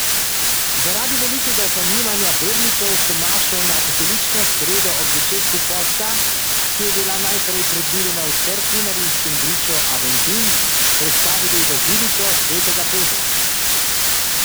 Zaradi velikega zanimanja vernikov so mašo na pepelnično sredo ob začetku posta, ki je bila najprej predvidena v cerkvi na rimskem griču Aventin, prestavili v baziliko svetega Petra.